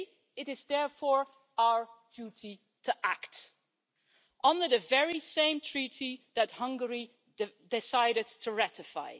It is therefore our duty to act, under the very same Treaty that Hungary decided to ratify.